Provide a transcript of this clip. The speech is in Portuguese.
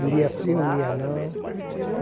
Um dia sim, um dia não.